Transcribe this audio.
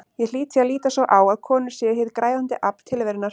Ég hlýt því að líta svo á að konur séu hið græðandi afl tilverunnar.